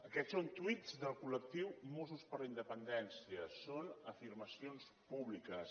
aquests són tuits del col·lectiu mossos per la independència són afirmacions públiques